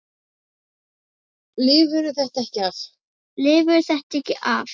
Lifirðu þetta ekki af?